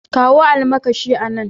Kawo almakashi a nan.